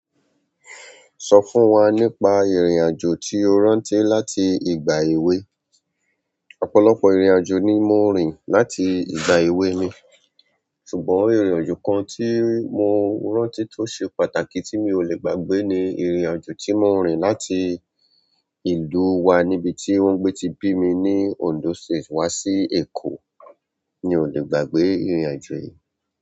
Sọ fún wa nípa ìrìn-àjò tí o rántí láti ìgbà èwe. Ọ̀pọ̀lọpọ̀ ìrìn aajo ni mo rìn láti ìgbà èwe mi. Ṣùgbọ́n ìrìn aajo kan tí mo rántí tó ṣe pàtàkì tí mi ò lè gbàgbé ni ìrìn aajo ti mo rìn láti ìlú wa níbi tí wọ́n gbé ti bimi ní Ondo State wa sí Eko. Mi ò lè gbàgbé ìrìn-àjò yìí.